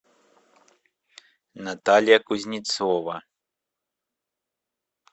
наталья кузнецова